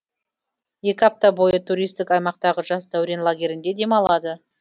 екі апта бойы туристік аймақтағы жас дәурен лагерінде демалады